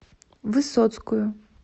высоцкую